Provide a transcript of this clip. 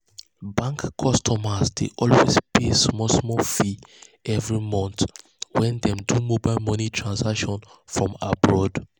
bank customers dey always pay small small fees every month when dem do mobile money transactions from abroad.